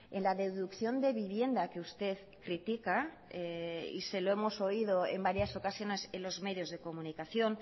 en la deducción de vivienda que usted critica y se lo hemos oído en varias ocasiones en los medios de comunicación